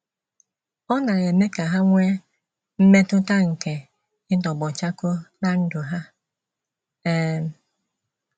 Ọ na - eme ka ha nwee mmetụta nke ịtọgbọ chakoo ná ndụ ha. um